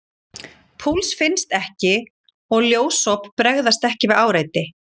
Púls finnst ekki og ljósop bregðast ekki við áreiti.